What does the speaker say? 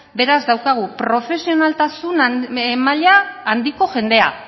beraz daukagu profesionaltasun maila handiko jendea